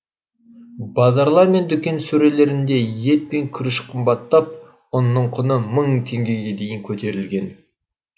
базарлар мен дүкен сөрелерінде ет пен күріш қымбаттап ұнның құны мың теңгеге дейін көтерілген